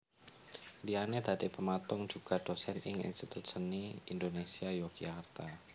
Liyane dadi pematung juga dosen ing Institut Seni Indonésia Yogyakarta